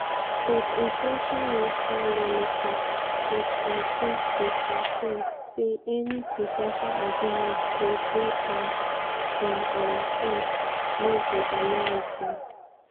but influential russian lawmaker kostantin kosachev say any po ten tial agreements go dey um "on our terms no be american".